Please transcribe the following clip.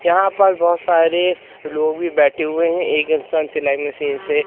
यहां पर बहुत सारे लोग भी बैठे हुए हैं एक इंसान सिलाई मशीन से--